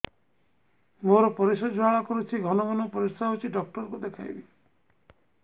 ମୋର ପରିଶ୍ରା ଜ୍ୱାଳା କରୁଛି ଘନ ଘନ ପରିଶ୍ରା ହେଉଛି ଡକ୍ଟର କୁ ଦେଖାଇବି